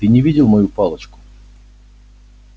ты не видел мою палочку